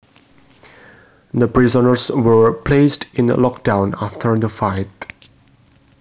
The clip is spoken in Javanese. The prisoners were placed in lockdown after the fight